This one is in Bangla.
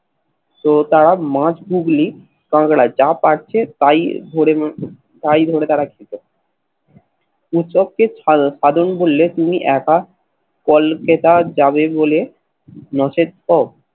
তো তারা মাঝ হুগলী যা পারছে তাই ধরে তাই ধরে তারা খেত উৎসবকে সাধন বললে তুমি একা কলকেতা যাবে বলে নসের ঠক